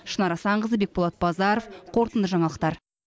шынар асанқызы бекболат базаров қорытынды жаңалықтар